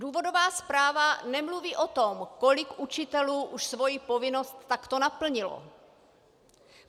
Důvodová zpráva nemluví o tom, kolik učitelů už svoji povinnost takto naplnilo.